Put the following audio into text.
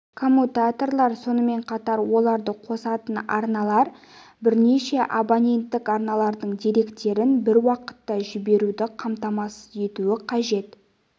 коммутаторлар сонымен қатар оларды қосатын арналар бірнеше абоненттік арналардың деректерін бір уақытта жіберуді қамтамасыз етуі қажет